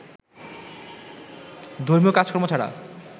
ধর্মীয় কাজকর্ম ছাড়া